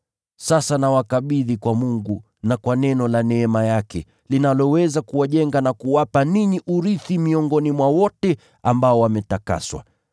“Sasa nawakabidhi kwa Mungu na kwa neno la neema yake, linaloweza kuwajenga na kuwapa ninyi urithi miongoni mwa wote ambao wametakaswa.